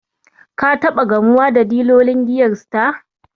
Ka taɓa gamuwa da dilolin giyar Star?